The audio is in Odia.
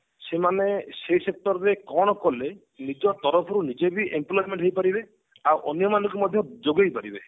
ସେମାନେ ସେଇ sector ରେ କଣ କଲେ ନିଜ ତରଫରୁ ନିଜେ ବି employment ହେଇପାରିବେ ଆଉ ଅନ୍ୟ ମାନଙ୍କୁ ମଧ୍ୟ ଯୋଗେଇ ପାରିବେ